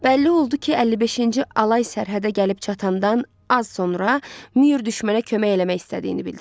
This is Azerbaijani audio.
Bəlli oldu ki, 55-ci alay sərhədə gəlib çatandan az sonra Müür düşmənə kömək eləmək istədiyini bildirib.